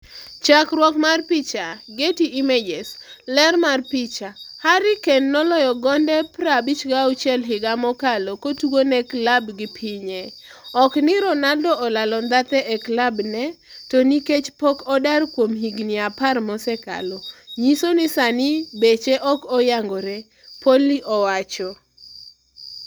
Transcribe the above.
Chakruok mar picha, Getty Images. Ler mar picha, Harry Kane noloyo gonde 56 higa mokalo kotugone klabgi pinye "ok ni Ronaldo olalo ndhathe e klab ne, to nikech pok odar kuom higni apar mosekalo. Nyiso ni sani beche ok oyangore," Poli owacho.